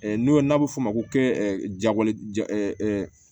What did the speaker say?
n'o n'a bɛ f'o ma ko jagole ja